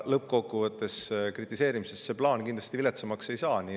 Lõppkokkuvõttes kritiseerimine seda plaani kindlasti viletsamaks ei.